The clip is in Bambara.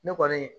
Ne kɔni